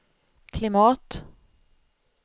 klimat